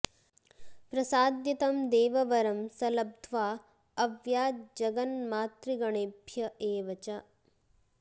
प्रसाद्य तं देववरं स लब्ध्वा अव्याज्जगन्मातृगणेभ्य एव च